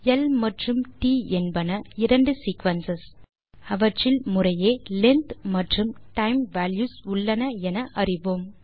L மற்றும் t என்பன இரண்டு சீக்வென்ஸ் அவற்றில் முறையே லெங்த் மற்றும் டைம் வால்யூஸ் உள்ளன என்று அறிவோம்